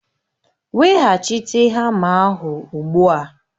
Weghachite hama ahụ ugbu a!